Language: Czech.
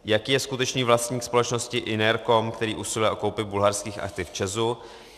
Jaký je skutečný vlastník společnosti Inercom, který usiluje o koupi bulharských aktiv ČEZu?